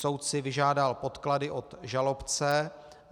Soud si vyžádal podklady od žalobce.